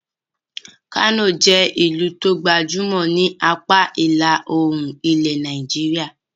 Kano jẹ́ ẹ́ ìlú tó gbajúmọ̀ ni apá ìlà-oòrùn ilẹ̀ Nàìjíríà.